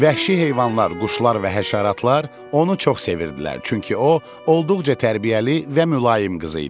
Vəhşi heyvanlar, quşlar və həşəratlar onu çox sevirdilər, çünki o, olduqca tərbiyəli və mülayim qız idi.